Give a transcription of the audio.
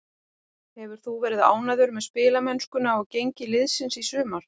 Hefur þú verið ánægður með spilamennskuna og gengi liðsins í sumar?